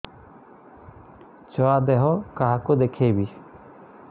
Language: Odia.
ଛୁଆ ଦେହ କାହାକୁ ଦେଖେଇବି